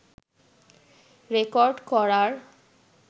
record করার